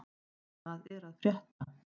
Hvað er að frétta?